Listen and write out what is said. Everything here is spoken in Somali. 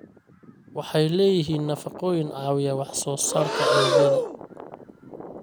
Waxay leeyihiin nafaqooyin caawiya wax soo saarka unugyada.